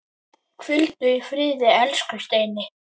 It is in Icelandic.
Hvíldu í friði, elsku Steini.